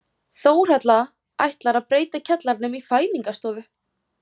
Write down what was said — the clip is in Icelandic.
Þórhalla ætlar að breyta kjallaranum í fæðingarstofu.